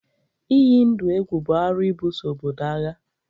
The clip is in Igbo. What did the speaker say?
Ịyi ndụ egwu bụ arụ ịbuso obodo agha